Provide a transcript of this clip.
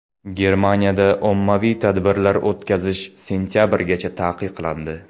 Germaniyada ommaviy tadbirlar o‘tkazish sentabrgacha taqiqlandi.